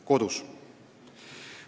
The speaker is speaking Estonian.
Kodus.